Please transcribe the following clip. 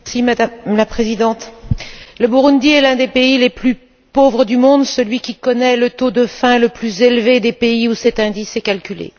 Madame la Présidente, le Burundi est l'un des pays les plus pauvres du monde, celui qui connaît le taux de faim le plus élevé parmi les pays où cet indice est calculé.